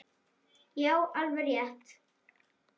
Já, alveg rétt!